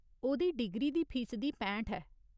ओह्‌‌‌दी डिग्री दी फीसदी पैंठ ऐ।